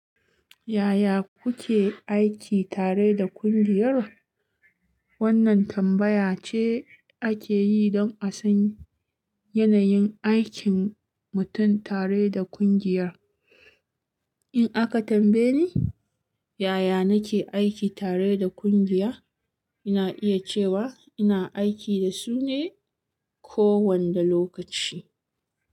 Yaya kuke aiki tare da kungiyar? Wannan tambaya ce ake yi don a san yanayin aikin mutum tare da kungiyar. In aka tambaye ni yaya nake aiki tare da kungiya, ina iya cewa ina aiki da su ne kowanne lokaci.